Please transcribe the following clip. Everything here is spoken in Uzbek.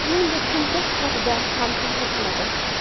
Shuningdek, sumka sifatiga ham ta’sir qiladi.